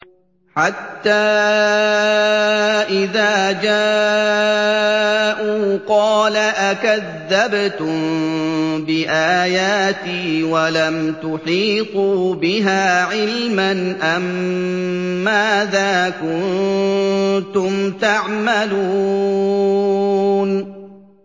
حَتَّىٰ إِذَا جَاءُوا قَالَ أَكَذَّبْتُم بِآيَاتِي وَلَمْ تُحِيطُوا بِهَا عِلْمًا أَمَّاذَا كُنتُمْ تَعْمَلُونَ